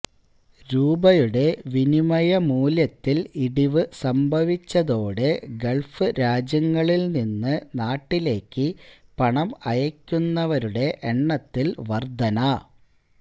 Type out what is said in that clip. രൂപയുടെ വിനിമയമൂല്യത്തില് ഇടിവ് സംഭവിച്ചതോടെ ഗള്ഫ് രാജ്യങ്ങളില് നിന്ന് നാട്ടിലേക്ക് പണം അയയ്ക്കുന്നവരുടെ എണ്ണത്തില് വന്വര്ധന